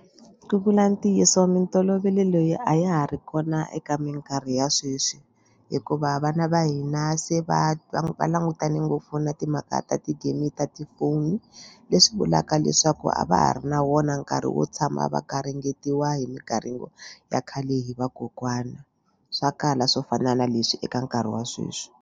Ku vula ntiyiso mintolovelo leyi a ya ha ri kona eka mikarhi ya sweswi hikuva vana va hina se va va va langutane ngopfu na timhaka ta ti-game ta tifoni leswi vulaka leswaku a va ha ri na wona nkarhi wo tshama va garingetiwa hi migaringo ya khale hi vakokwana swa kala swo fana na leswi eka nkarhi wa sweswi.